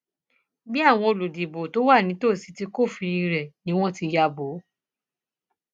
bí àwọn olùdìbò tó wà nítòsí ti kófìrí rẹ ni wọn ti ya bò ó